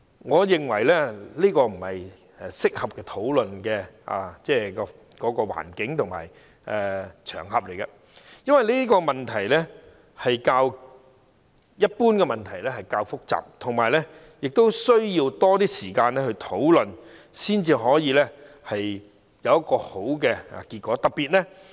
我認為現在不是適合討論這課題的合適時間，因為這課題較一般問題複雜，需要更多時間討論，才可以得出一個好的結果。